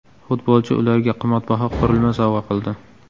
Futbolchi ularga qimmatbaho qurilma sovg‘a qildi.